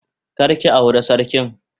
Kar ki aure sarkin.